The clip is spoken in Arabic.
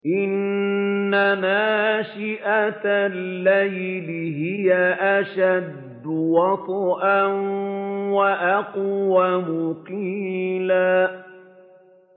إِنَّ نَاشِئَةَ اللَّيْلِ هِيَ أَشَدُّ وَطْئًا وَأَقْوَمُ قِيلًا